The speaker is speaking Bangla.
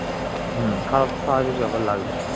হম খারাপ তো স্বাভাবিক ব্যাপার লাগবেই